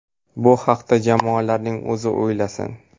Bu haqda jamoalarning o‘zi o‘ylasin.